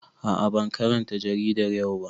A a ban karanta jaridar yau ba.